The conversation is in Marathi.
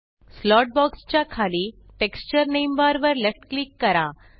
स्लॉट बॉक्स च्या खाली टेक्स्चर नामे बार वर लेफ्ट क्लिक करा